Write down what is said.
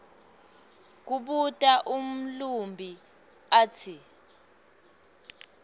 kubuta umlumbi atsi